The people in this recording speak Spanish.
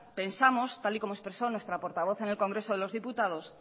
pensamos tal y como expresó nuestra portavoz en el congreso de los diputados